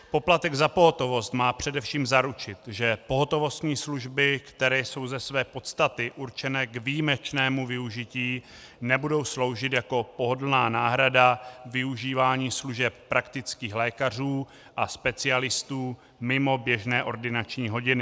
Poplatek za pohotovost má především zaručit, že pohotovostní služby, které jsou ze své podstaty určené k výjimečnému využití, nebudou sloužit jako pohodlná náhrada využívání služeb praktických lékařů a specialistů mimo běžné ordinační hodiny.